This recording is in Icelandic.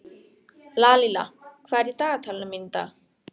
Lalíla, hvað er í dagatalinu mínu í dag?